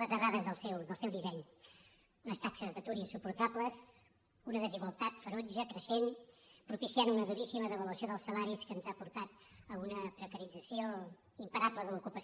les errades del seu disseny unes taxes d’atur insuportables una desigualtat ferotge creixent propiciant una duríssima devaluació dels salaris que ens ha portat a una precarització imparable de l’ocupació